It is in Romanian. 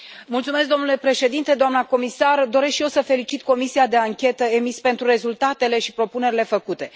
Mulțumesc, domnule președinte, doamnă comisar, doresc și eu să felicit Comisia de anchetă EMIS pentru rezultatele și propunerile făcute.